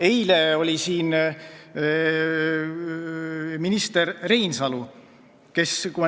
Eile oli siin minister Reinsalu.